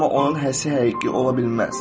Amma onun həsi həqiqi ola bilməz.